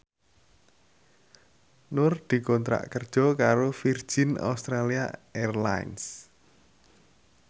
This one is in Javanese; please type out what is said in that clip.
Nur dikontrak kerja karo Virgin Australia Airlines